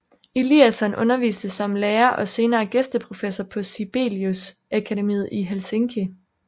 Eliasson underviste som lærer og senere gæsteprofessor på Sibelius Akademiet i Helsinki